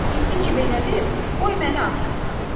İndi ki belədir, qoy məni ağrıtsın.